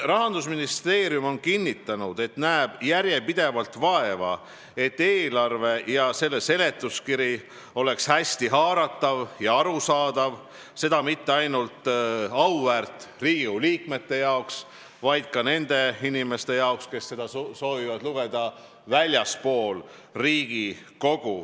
Rahandusministeerium on kinnitanud, et näeb järjepidevalt vaeva, et eelarve ja selle seletuskiri oleksid hästi haaratavad ja arusaadavad ning seda mitte ainult auväärt Riigikogu liikmete jaoks, vaid ka nende inimeste jaoks, kes väljaspool Riigikogu seda lugeda soovivad.